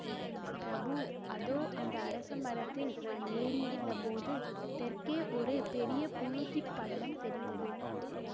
பிரபு அதோ அந்த அரச மரத்தில் நான் ஏறி இருந்த போது தெற்கே ஒரு பெரிய புழுதிப்படலம் தெரிந்தது